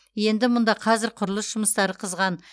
енді мұнда қазір құрылыс жұмыстары қызған